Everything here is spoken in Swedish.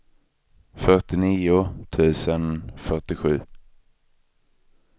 fyrtionio tusen fyrtiosju